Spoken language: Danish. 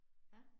Ja